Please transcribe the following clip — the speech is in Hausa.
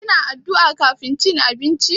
Kina addu'a kafin cin abinci?